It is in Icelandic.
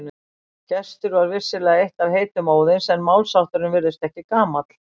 Gestur var vissulega eitt af heitum Óðins en málshátturinn virðist ekki gamall.